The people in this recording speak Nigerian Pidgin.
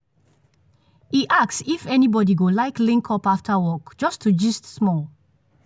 e ask if anybody go like link up after work just to gist small.